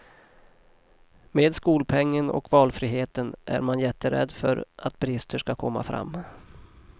Med skolpengen och valfriheten är man jätterädd för att brister skall komma fram.